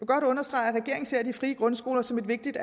godt understrege at regeringen ser de frie grundskoler som et vigtigt